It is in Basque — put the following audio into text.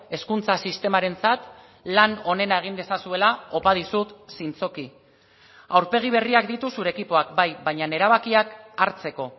hezkuntza sistemarentzat lan onena egin dezazuela opa dizut zintzoki aurpegi berriak ditu zure ekipoak bai baina erabakiak hartzeko